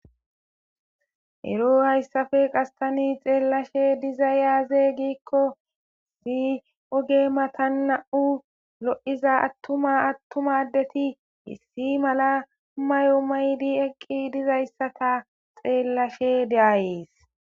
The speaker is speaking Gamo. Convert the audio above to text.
Ero hayssafe qastani xeellashe diza yaaze giikko si oge matan na'u lo'iza attuma attumadeti hissi mala mayo maydi eqqi dizayssata xeellashe deayees.